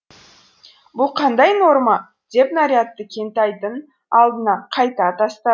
бұл қандай норма деп нарядты кентайдың алдына қайта тастады